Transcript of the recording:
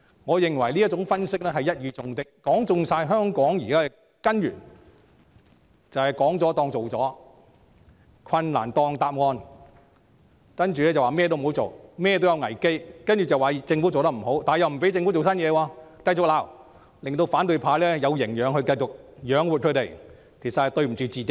我認為這種分析一語中的，說中香港目前情況的根源，即"說了當做了"、"困難當答案"，然後便說甚麼也不要做、甚麼也有危機，再指責政府做得不好，但又不許政府推出新措施。